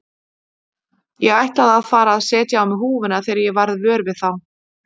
Ég ætlaði að fara að setja á mig húfuna þegar ég varð vör við þá.